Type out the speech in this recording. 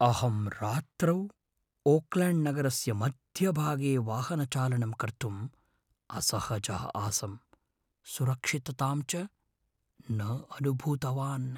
अहं रात्रौ ओकल्याण्ड्नगरस्य मध्यभागे वाहनचालनं कर्तुम् असहजः आसम्, सुरक्षिततां च न अनुभूतवान् ।